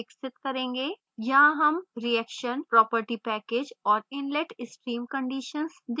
यहाँ हम reaction property package और inlet stream conditions देते हैं